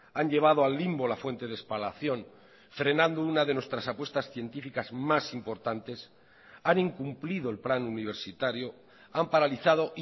han llevado al limbo la fuente de espalación frenando una de nuestras apuestas científicas más importantes han incumplido el plan universitario han paralizado